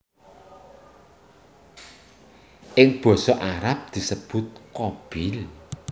Ing basa Arab disebut Qabil